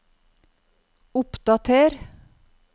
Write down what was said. oppdater